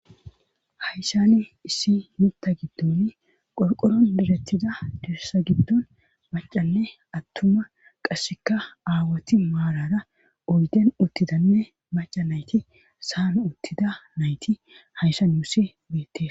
Hayssani issi mutta giddoni qorqoron birettida dirisa giddon macanne attuma qasseka aawoti maalara oyden uttidanne maca nayti saan uttida nayti hayssan ussi beette